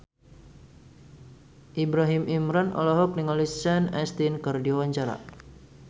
Ibrahim Imran olohok ningali Sean Astin keur diwawancara